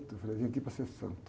Eu falei, eu vim aqui para ser santo.